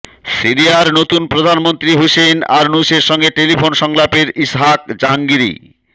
সিরিয়ার নতুন প্রধানমন্ত্রী হুসেইন আরনুসের সঙ্গে টেলিফোন সংলাপে ইসহাক জাহাঙ্গিরি